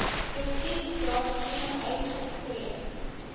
kritiek daarteen uitgespreek